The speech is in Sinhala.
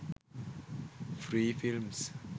free films